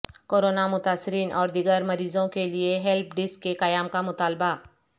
corona متاثرین اور دیگر مریضوں کیلئے ہیلپ ڈیسک کے قیام کا مطالبہ